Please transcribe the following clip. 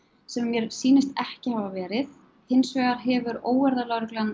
sem mér sýnist ekki hafa verið hins vegar hefur